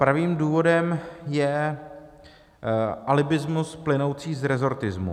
Pravým důvodem je alibismus plynoucí z resortismu.